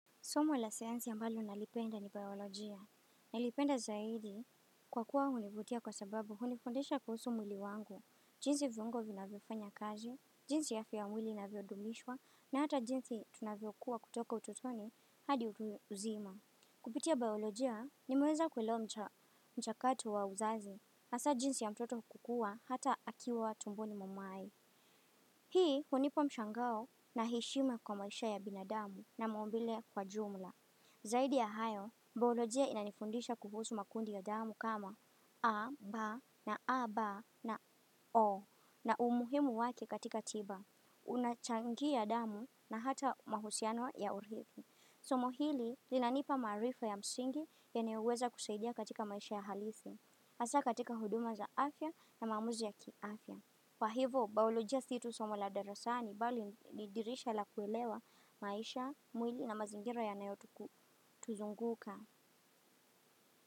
Somo la sayansi ambalo nalipenda ni biolojia. Nalipenda zaidi kwa kuwa hunivutia kwa sababu hunifundisha kuhusu mwili wangu. Jinsi viungo vinavyofanya kazi, jinsi afya mwili inavyodumishwa, na hata jinsi tunavyo kuwa kutoka ututoni hadi utu zima. Kupitia biolojia nimeweza kueleao mchakato wa uzazi, hasa jinsi ya mtoto kukuwa hata akiwa tumboni ya mamake. Hii hunipa mshangao na heshima kwa maisha ya binadamu na maumbile kwa jumla. Zaidi ya hayo, biolojia inanifundisha kuhusu makundi ya damu kama A, B na A, B na O na umuhimu wake katika tiba. Unachangia damu na hata mahusiano ya urithi somo hili linanipa maarifa yanayoweza kusaidia katika maisha ya halisi hasa katika huduma za afya na maamuzi ya kiafya kwa hivyo, biolojia si tu somo la darasani bali ni dirisha la kuelewa maisha, mwili na mazingira yanayotuzunguka.